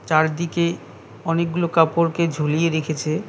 চারদিকে অনেকগুলো কাপড়কে ঝুলিয়ে রেখেছে।